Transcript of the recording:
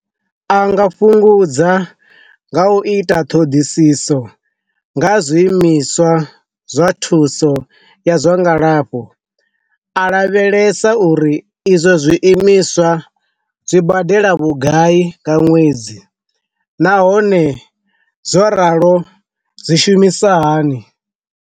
A nga fhungudza nga u ita ṱhoḓisiso nga zwi imiswa zwa thuso ya zwa ngalafho, a lavhelesa sa uri izwo zwi imiswa zwi badela vhugai nga ṅwedzi nahone zwo ralo zwi shumisa hani.